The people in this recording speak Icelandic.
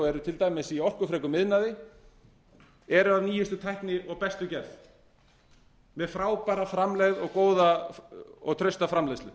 eru til dæmis í orkufrekum iðnaði eru af nýjustu tækni og bestu gerð með frábæra framlegð og góða og trausta framleiðslu